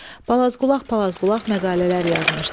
Balazqulaq palazqulaq məqalələr yazmışdı.